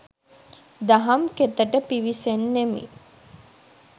දහම් කෙතට පිවිසෙන්නෙමි.